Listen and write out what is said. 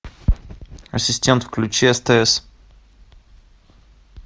ассистент включи стс